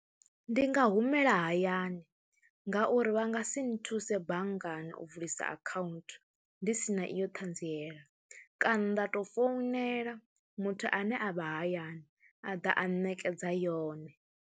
Ndi nga humela hayani ngauri vha nga si nthuse banngani u vulisa akhaunthu ndi si na iyo ṱhanziela kana nda tou founela muthu ane a vha hayani a ḓa a ṋekedza yone.